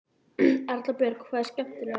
Erla Björg: Hvað er skemmtilegast?